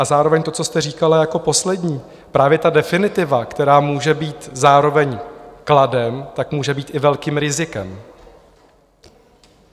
A zároveň to, co jste říkala jako poslední, právě ta definitiva, která může být zároveň kladem, tak může být i velkým rizikem.